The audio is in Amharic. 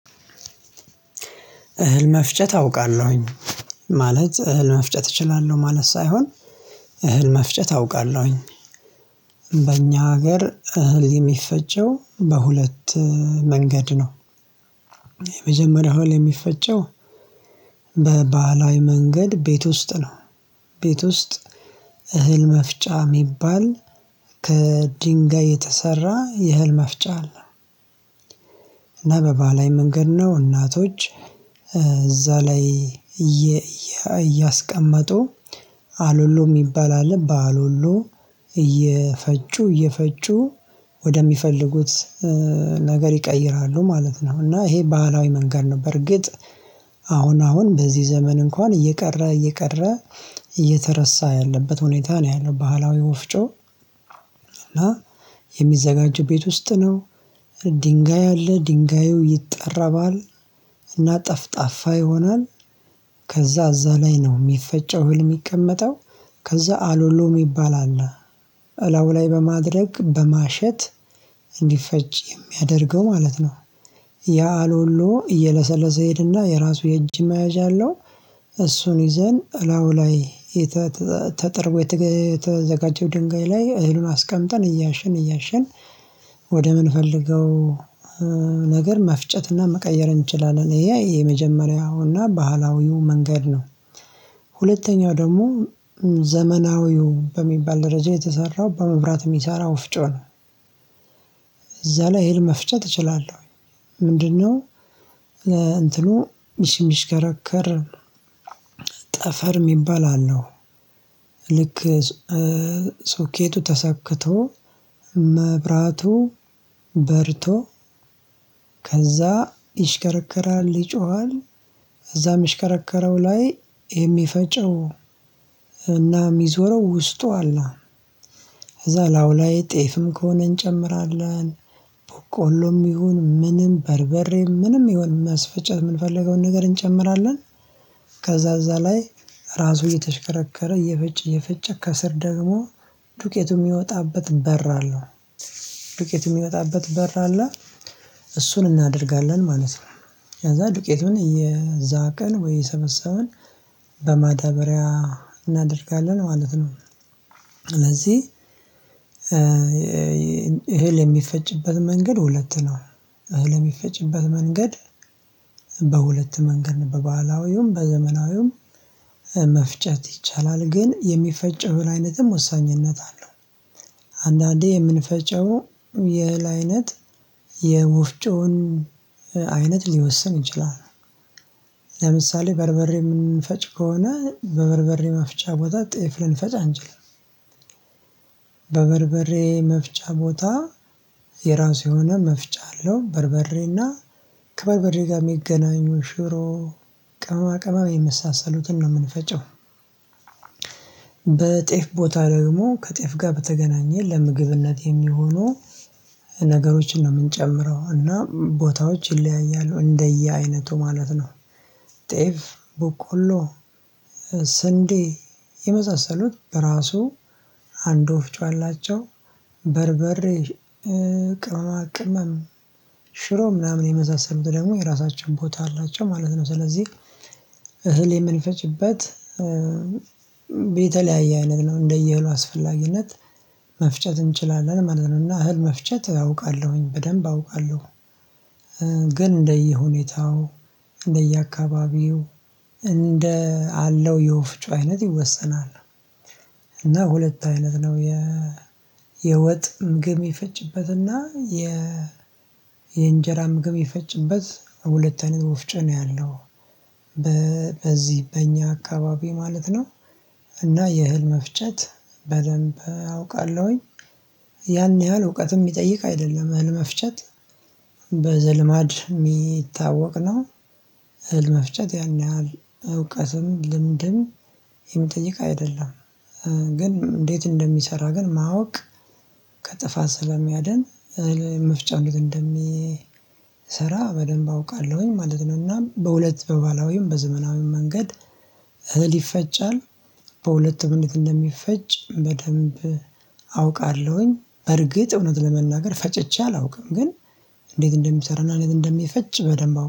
እህል መፍጨት አውቃለሁኝ ማለት እህል መፍጨት እችላለሁ ማለት ሳይሆን እህል መፍጨት አውቃለሁኝ። በእኛ ሀገር እህል የሚፈጨው በሁለት መንገድ ነው። የመጀመሪያው እህል የሚፈጨው በባህላዊ መንገድ ቤት ውስጥ ነው። ቤት ውስጥ እህል መፍጫ እሚባል ከድንጋይ የተሰራ የህል መፍጫ አለ። እና በባህላዊ መንገድ ነው እናቶች እዛ ላይ እያስቀመጡ አሉሉ እሚባል አለ በአሉሎ እየፈጩ እየፈጩ ወደሚፈልጉት ነገር ይቀይራሉ ማለት ነው። እና ይሄ ባህላዊ መንገድ ነው። በርግጥ አሁን አሁን በዚህ ዘመን እንኳን እየቀረ እየቀረ እየተረሳ ያለበት ሁኔታ ነው ያለው ባህላዊ ወፍጮ። እና የሚዘጋጁ ቤት ውስጥ ነው። ድንጋይ አለ ድንጋዩ ይጠራባል እና ጠፍጣፋ ይሆናል። ከዛ እዛ ላይ ነው እሚፈጨው እህል እሚቀመጠው ከዛ አሎሎ እሚባል አለ። አላው ላይ በማድረግ በማሸት እንዲፈጭ የሚያደርገው ማለት ነው። ያ አሎሎ እየለሰለሰ ይሄድና የራሱ የእጅ መያዣ አለው። እሱን ይዘን እላው ላይ ተጠርጎ የተዘጋጀው ድንጋይ ላይ እህሉን አስቀምጠን እያሸን እያሸን ወደ ምንፈልገው ነገር መፍጨትና መቀየር እንችላለን ይሄ የመጀመሪያውና ባህላዊው መንገድ ነው። ሁለተኛው ደግሞ ዘመናዊው በሚባል ደረጃ የተሰራው በመብራት የሚሰራው ወፍጮ ነው። እዛ ላይ እህል መፍጨት እችላለሁ ምንድነው? እንትኑ እሚሽከረከር ጠፈር እሚባል አለው። ልክ ሶኬቱ ተሰክቶ መብራቱ በርቶ ከዛ ይሽከረከራል ይጮሃል እዛ እሚሽከረከረው ላይ የሚፈጨው እና እሚዞረው ውስጡ አለ። ከዛ እላውላይ ጤፍም ከሆነ እንጨምራለን በቆሎም ይሁን ምንም በርበሬ ምንም ይሁን ማስፈጨት እምንፈልገውን ነገር እንጨምራለን። ከዛ እዛ ላይ ራሱ እየተሽከረከረ እየፈጨ እየፈጨ ከስር ደግሞ ዱቄቱ የሚወጣበት በር አለው። ዱቄቱ የሚወጣበት በር አለ እሱን እናደርጋለን ማለት ነው። ከዛ ዱቄቱን እየዛቀን ወይ እየሰበሰበን በማዳበሪያ እናደርጋለን ማለት ነው። ስለዚህ እህል የሚፈጭበት መንገድ ሁለት ነው። እህል እሚፈጭበት መንገድ በሁለት መንገድ ነው በባህላዊውም በዘመናዊውም መፍጨት ይቻላል ግን የሚፈጨው እህል አይነትም ወሳኝነት አለው። አንዳንዴ የምንፈጨው የእህል አይነት የወፍውን አይነት ሊወስን ይችላል። ለምሳሌ በርበሬ እምንፈጭ ከሆነ በበርበሬ መፍጫ ቦታ ጤፍ ልንፈጭ አንችልም። በበርበሬ መፍጫ ቦታ የራሱ የሆነ መፍጫ አለው በርበሬና ከበርበሬ ጋር እሚገናኙ ሽሮ ቅማቅማ የመሳሰሉትን ነው እምንፈጨው። በጤፍ ቦታ ደግሞ ከጤፍ ጋር በተገናኘ ለምግብነት የሚሆኑ ነገሮችን ነው እምንጨምረው እና ቦታዎች ይለያያሉ እንደየአይነቱ ማለት ነው። ጤፍ በቆሎ ስንዴ የመሳሰሉት በራሱ አንድ ወፍጮ አላቸው። በርበሬ ቅመማ ቅመም ሽሮ ምናምን የመሳሰሉት ደግሞ የራሳችው ቦታ አላቸው ማለት ነው። ስለዚህ እህል የምንፈጭበት የተለያየ አይነት ነው እንደየእህሉ አስፈላጊነት መፍጨት እንችላለን ማለት ነው። እና እህል መፍጨት አውቃለሁኝ በደንብ አውቃለሁ። ግን እንደየሁኔታው እንደየአካባቢው እንደ አለው የወፍጮ አይነት ይወሰናል። እና ሁለት አይነት ነው የ የወጥ ምግብ እሚፈጭበትና የ የእንጀራ ምግብ የሚፈጭበት ሁለተ አይነት ወፍጮ ነው ያለው። በዚህ በእኛ አካባቢ ማለት ነው። እና የእህል መፍጨት በደንብ አውቃለሁኝ። ያን ያህል እውቀት እሚጠይቅ አይደለም እህል መፍጨት በዘልማድ እሚታወቅ ነው። ለመፍጨት ያን ያህል እውቀትም ለምድም እሚጠይቅ አይደለም። ግን እንዴት እንደሚሰራ ግን ማወቅ ከጥፋት ስለሚያድን መፍጫ ጊዜ እንደሚሰራ በደንብ አውቃለሁኝ ማለት ነው። እና በሁለት በባህላዊም በዘመናዊም መንገድ እህል ይፈጫል። በሁለት አይነት እንደሚፈጭ በደንብ አውቃለሁኝ በርግጥ እውነት ለመናገር ፈጭቼ አላውቅም ግን እንዴት እንደሚሰራና እንዴት እንደሚፈጭ በደንብ አውቃለሁ